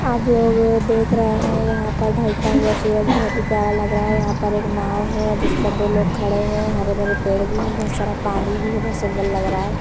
आप लोग देख रहे हैं यहां पर ढलता हुआ सूरज बहोत ही प्यार लग रहा है यहां पर एक नाव है जिसपर दो लोग खड़े हुए हैं हरे भरे पेड़ भी हैं बहुत सारा पानी भी है बहुत सुंदर लग रहा है।